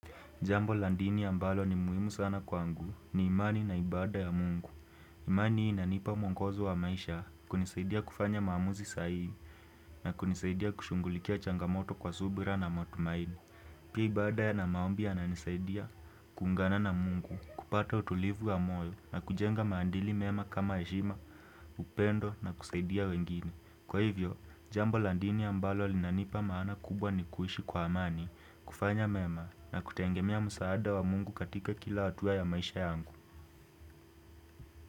Jambo la dini ambalo ni muhimu sana kwangu ni imani na ibada ya mungu. Imani inanipa mwongozo wa maisha kunisaidia kufanya maamuzi sahii na kunisaidia kushugulikia changamoto kwa subira na matumaini Pia ibada yana maombi yananisaidia kuungana na mungu, kupata utulivu wa moyo na kujenga maadili mema kama heshima, upendo na kusaidia wengine. Kwa hivyo, jambo la dini ambalo linanipa maana kubwa ni kuishi kwa amani, kufanya mema na kutegemea msaada wa mungu katika kila hatua ya maisha yangu.